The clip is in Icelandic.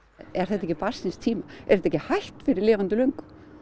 er þetta ekki barn síns tíma er þetta ekki hætt fyrir lifandi löngu